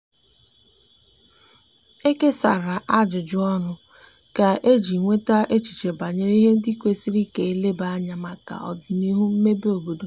e kesara ajụjụ ọnụ kà eji nweta echiche banyere ihe ndi kwesiri ka eleba anya maka odinihu mmebe obodo